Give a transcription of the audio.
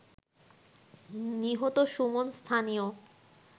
নিহত সুমন স্থানীয়